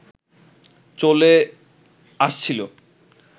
চলে আসছিল